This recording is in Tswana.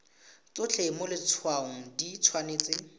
tsotlhe mo letshwaong di tshwanetse